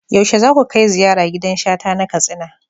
Yaushe za ku kai ziyara gidan Shata na Katsina?